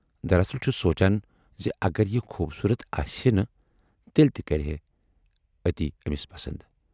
دراصل چُھس سونچان زِ اگر یہِ خوبصوٗرت آسہِ ہے نہٕ، تیلہِ تہِ کرِہا اتی ٲمِس پسند؟